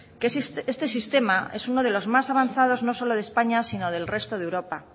que este sistema es uno de los más avanzados no solo de españa sino del resto de europa